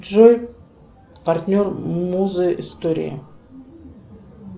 джой партнер музы истории